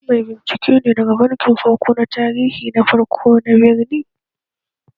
Shin mai binciken ne daga bankin tarihi na farko na birni?